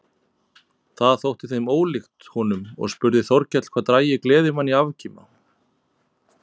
Það þótti þeim ólíkt honum og spurði Þórkell hvað drægi gleðimann í afkima.